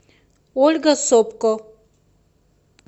ольга сопко